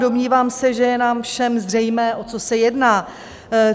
Domnívám se, že je nám všem zřejmé, o co se jedná.